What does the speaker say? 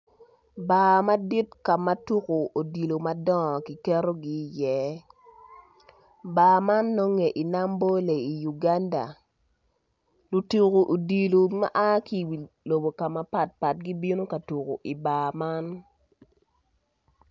Bar madit ka ma tuko odilo madongo kiketogi iye bar man nonge i Nambole i Uganda luto odilo maa ki i lobo mapat pat gibino ka tuko i bar man.